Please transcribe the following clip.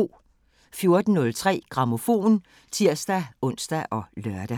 14:03: Grammofon (tir-ons og lør)